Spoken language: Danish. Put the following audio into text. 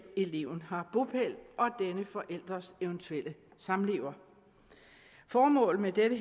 eleven har bopæl og denne forælders eventuelle samlever formålet med dette